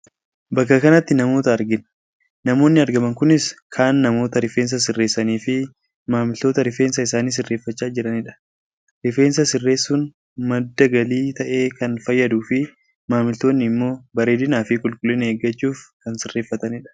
Bakka kanatti namoota argina. Namoonni argaman kunis kaan namoota rifeensa sirreessanii fi maamiltoota rifeensa isaanii sirreeffachaa jiranidha. Rifeensa sirreessuun madda galii ta'ee kan fayyaduu fi maamiltoonni immoo bareedinaafi qulqullina eeggachuuf kan sirreeffatanidha.